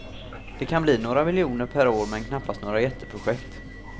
Det kan bli några miljoner per år men knappast några jätteprojekt.